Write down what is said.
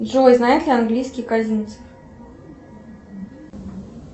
джой знает ли английский козинцев